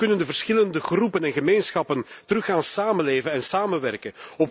Hoe kunnen de verschillende groepen en gemeenschappen weer gaan samenleven en samenwerken?